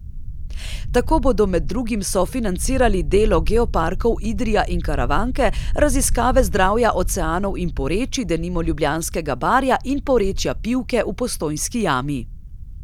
Tako bodo med drugim sofinancirali delo geoparkov Idrija in Karavanke, raziskave zdravja oceanov in porečij, denimo Ljubljanskega barja in porečja Pivke v Postojnski jami.